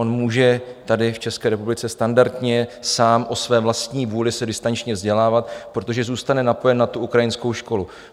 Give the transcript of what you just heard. On může tady v České republice standardně sám o své vlastní vůli se distančně vzdělávat, protože zůstane napojen na tu ukrajinskou školu.